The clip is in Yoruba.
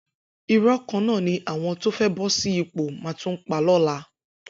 Irọ́ kan náà ni àwọn tó fẹ́ bọ́ sí ipò máa tún pa lọ́la.